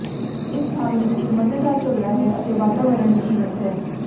ਇਸ ਸਥਾਨ ਵਿੱਚ ਇੱਕ ਮਜ਼ੇਦਾਰ ਝਗੜਾ ਹੈ ਅਤੇ ਵਾਤਾਵਰਣ ਜੀਵੰਤ ਹੈ